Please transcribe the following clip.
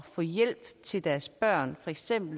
få hjælp til deres børn